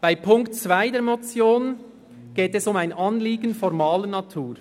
Bei Punkt 2 der Motion geht es um ein Anliegen formaler Natur.